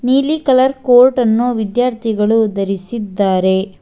ನೀಲಿ colour coat ಅನ್ನು ವಿದ್ಯಾರ್ಥಿಗಳು ಧರಿಸಿದ್ದಾರೆ.